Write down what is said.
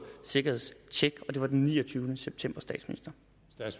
sikkerhedstjek det var den niogtyvende september